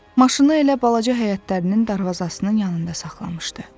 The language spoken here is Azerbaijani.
Maşını elə balaca həyətlərinin darvazasının yanında saxlamışdı.